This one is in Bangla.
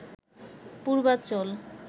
পূর্বাচল